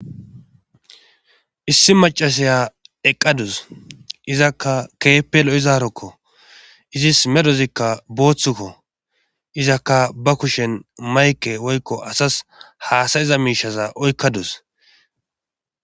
Issi macasaya eqqadus izakka keepelo izaarokko izis medozikka booththukko izakka ba kushen mayke woykko asas haasayiza miishaza oykkadus.